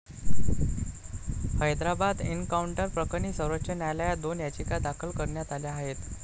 हैदराबाद एन्काऊंटरप्रकरणी सर्वोच्च न्यायालयात दोन याचिका दाखल करण्यात आल्या आहेत.